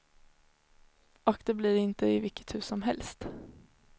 Och det blir inte i vilket hus som helst.